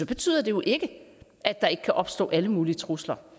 betyder det jo ikke at der ikke kan opstå alle mulige trusler